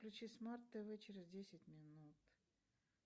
включи смарт тв через десять минут